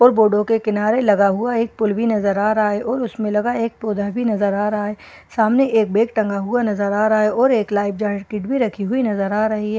और बोर्डो के किनारे लगा हुआ एक पुल भी नजर आ रहा है और उसमें लगा एक पौधा भी नजर आ रहा है सामने एक बैग टंगा हुआ नजर आ रहा है और एक लाइफ जैकिट भी रखी हुई नजर आ रही है।